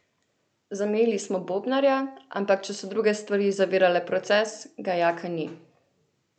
Zamenjali smo bobnarja, ampak če so druge stvari zavirale proces, ga Jaka ni.